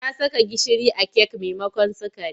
Ta saka gishiri a kek maimakon sukari.